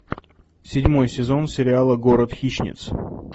седьмой сезон сериала город хищниц